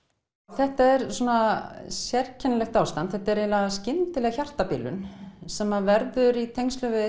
þetta er sérkennilegt ástand þetta er eiginlega skyndileg hjartabilun sem verður í tengslum við